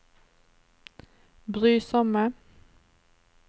brysomme